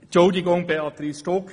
Entschuldigung, Béatrice Stucki.